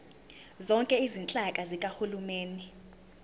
zonke izinhlaka zikahulumeni